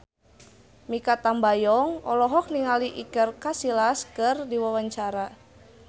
Mikha Tambayong olohok ningali Iker Casillas keur diwawancara